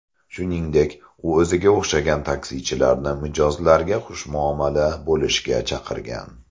Shuningdek, u o‘ziga o‘xshagan taksichilarni mijozlarga xushmuomala bo‘lishga chaqirgan.